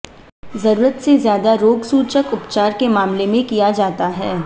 जरूरत से ज्यादा रोगसूचक उपचार के मामले में किया जाता है